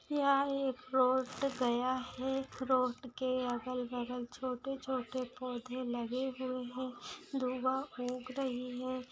यह एक प्लॉट गया है प्लॉट के अगल-बगल छोटे-छोटे पौधे लगे हुए है धुआ उग रही है।